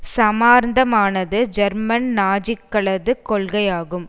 சமாந்தரமானது German நாஜிக்களது கொள்கைகளாகும்